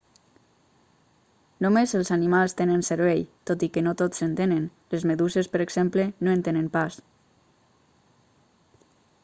només els animals tenen cervell tot i que no tots en tenen; les meduses per exemple no en tenen pas